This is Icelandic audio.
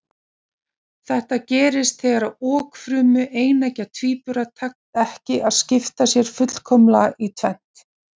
Nokkrir réttsýnir menn gripu hér í taumana og stoppuðu þessar deilur sem engum tilgangi þjónuðu.